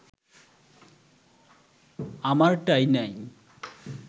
আমারটাই নাই